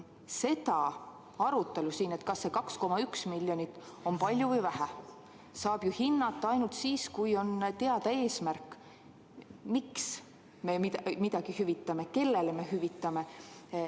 Seda arutelu, kas see 2,1 miljonit on palju või vähe, saab hinnata ainult siis, kui on teada eesmärk, miks me midagi hüvitame ja kellele me hüvitame.